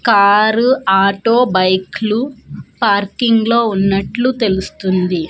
Car auto బైక్లు parking లో ఉన్నట్లు తెలుస్తుంది.